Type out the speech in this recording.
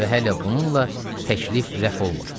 Və hələ bununla təklif rəf olmur.